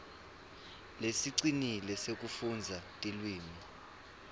lesicinile sekufundza tilwimi